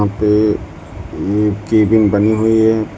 ये एक केबिन बनी हुई है।